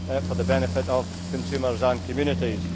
for the benefit of consumers and communities.